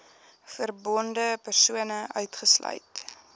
verbonde persone uitgesluit